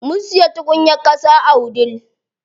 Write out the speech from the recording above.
Mun siya tukunyar ƙasa a wudil.